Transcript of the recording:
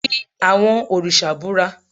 fí awọn oriṣa búra!